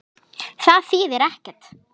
Það þýðir ekkert.